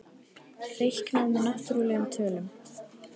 Reiknað með náttúrlegum tölum.